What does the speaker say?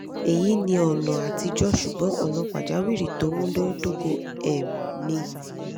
eyi ni ona atijo sugbon ona pajawiri to munadoko um ni